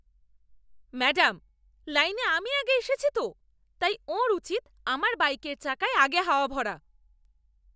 Madam, লাইনে আমি আগে এসেছি তো, তাই ওঁর উচিত আমার বাইকের চাকায় আগে হাওয়া ভরা।